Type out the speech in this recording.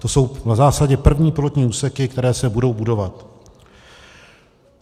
To jsou v zásadě první pilotní úseky, které se budou budovat.